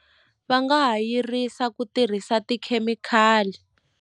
Va nga ha yirisa ku tirhisa tikhemikhali.